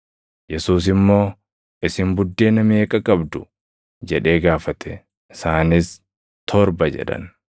Yesuus immoo, “Isin buddeena meeqa qabdu?” jedhee gaafate. Isaanis, “Torba” jedhan.